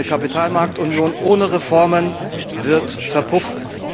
Eine Kapitalmarktunion ohne Reformen wird verpuffen.